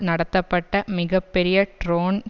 நடத்தப்பட்ட மிக பெரிய ட்ரோன்